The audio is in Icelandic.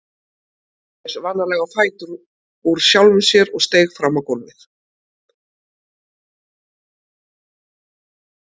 Hann reis varlega á fætur úr sjálfum sér og steig fram á gólfið.